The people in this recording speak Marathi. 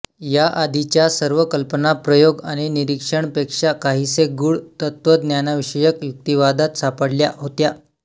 या आधीच्या सर्व कल्पना प्रयोग आणि निरीक्षणपेक्षा काहीसे गुढ तत्त्वज्ञानविषयक युक्तिवादात सापडल्या होत्या